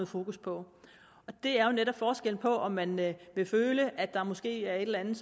fokus på det er jo netop forskellen på om man vil vil føle at der måske er et eller andet